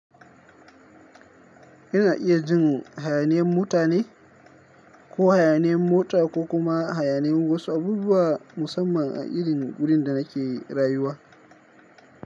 Yana iya jin hayaniyan mutane ko hayaniyan mota ko kuma hayaniyan wasu abubuwa musamman a irin wurin da nake rayuwa.